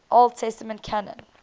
old testament canon